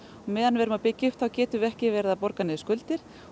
meðan við erum að byggja upp þá getum við ekki verið að borga niður skuldir